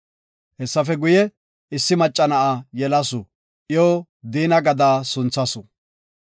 Hessafe guye, issi macca na7a yelasu, iyo Diina gada sunthasu.